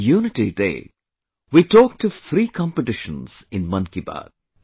'Unity Day', we talked of three competitions in 'Mann Ki Baat'